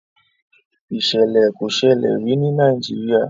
Ìṣẹ̀lẹ̀ kò sẹlẹ̀ rí ní Nàìjíríà